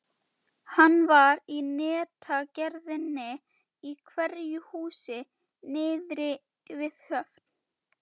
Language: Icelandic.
Hann var í netagerðinni í einhverju húsi niðri við höfn.